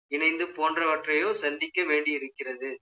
இணைந்து, போன்றவற்றையோ, சந்திக்க வேண்டி இருக்கிறது.